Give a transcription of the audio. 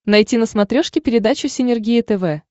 найти на смотрешке передачу синергия тв